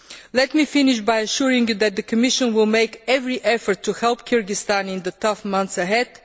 Let me finish by assuring you that the Commission will make every effort to help Kyrgyzstan in the tough months ahead.